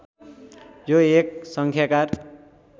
यो एक सङ्खाकार